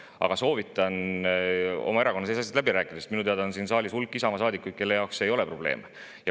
Aga soovitan teil oma erakonna sees asjad läbi rääkida, sest minu teada on siin saalis hulk Isamaa saadikuid, kelle jaoks see ei ole probleem.